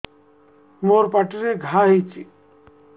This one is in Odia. ମୋର ପାଟିରେ ଘା ହେଇଚି